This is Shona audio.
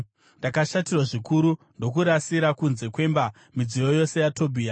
Ndakashatirwa zvikuru ndokurasira kunze kwemba, midziyo yose yaTobhia.